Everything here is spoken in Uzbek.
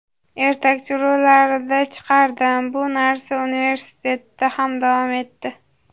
ertakchi rollarida chiqardim bu narsa universitetda ham davom etdi.